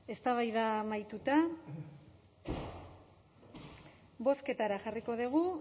eztabaida amaituta bozketara jarriko dugu